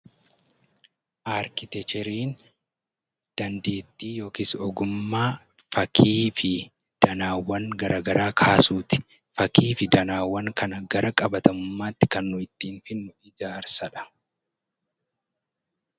Arkiteekchariin dandeettii yookiis ogummaa fakkii fi danaawwan garaagaraa kaasuu fi danaawwan kana gara qabatamummaatti ittiin jijjiirrudha